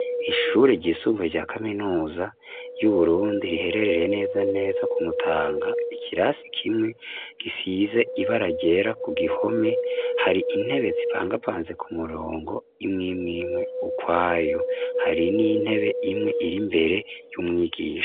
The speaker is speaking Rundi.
Ishure ryisumbuye rya kaminuza y'uburundi rihererereye neza neza kumutanga ikirasi kimwe gisize ibaragera ku gihome hari intebe zipangapanze ku murongo imwimwimwe ukwayu hari n'intebe imwe iri mbere y'umwigisha.